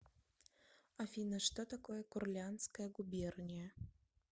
афина что такое курляндская губерния